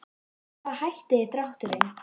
Með hvaða hætti er drátturinn?